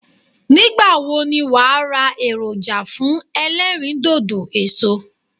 Nígbàwo ni wàá ra èròjà fún elérìndòdò èso